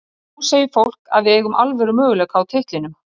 Svo nú segir fólk að við eigum alvöru möguleika á titlinum.